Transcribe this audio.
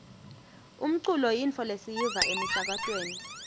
umculo yintfo lesiyiva emisakatweni